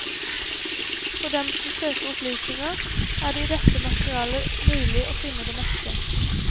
For dem som søker opplysninger, er det i dette materialet mulig å finne det meste.